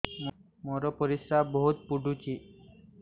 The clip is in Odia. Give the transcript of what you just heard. ମୋର ପରିସ୍ରା ବହୁତ ପୁଡୁଚି